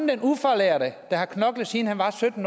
den ufaglærte der har knoklet siden han var sytten